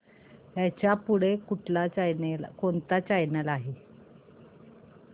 ह्याच्या पुढे कोणता चॅनल आहे